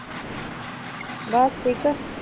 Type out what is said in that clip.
ਬਸ ਠੀਕ ਆ।